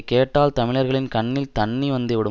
கேட்டால் தமிழர்களின் கண்ணில் தண்ணி வந்துவிடும்